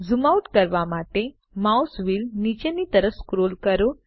zoom out કરવા માટે mouse wheel નીચેની તરફ સ્ક્રોલ કરો